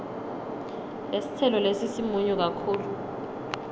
lesitselo lesi simunyu kakhulu